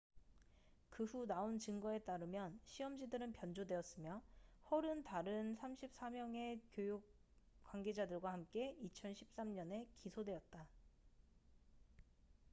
그 후 나온 증거에 따르면 시험지들은 변조되었으며 hall은 다른 34명의 교육 관계자들과 함께 2013년에 기소되었다